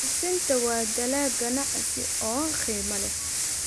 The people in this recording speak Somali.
Sisinta waa dalag ganacsi oo qiimo leh.